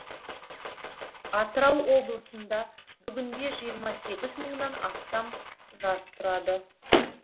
атырау облысында бүгінде жиырма сегіз мыңнан астам жас тұрады